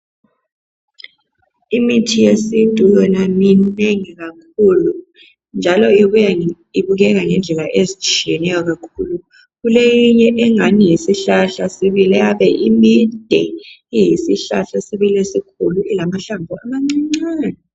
Imithi yesintu yona minengi kakhulu njalo ibuya ibukeka ngendlela ezitshiyeneyo kakhulu . Kuleyinye engani yisihlahla sibili eyabe imide, iyisihlahla sibili esikhulu ilamahlamvu amanca-ncane.